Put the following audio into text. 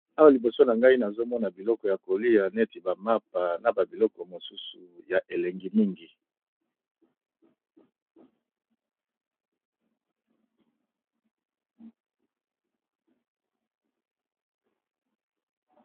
Awa liboso na ngai nazomona biloko ya kolia neti bamapa na babiloko mosusu ya elengi mingi.